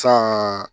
San